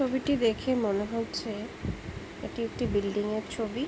ছবিটি দেখে মনে হচ্ছে এটি একটি বিল্ডিং এর ছবি।